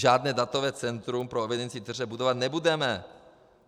Žádné datové centrum pro evidenci tržeb budovat nebudeme.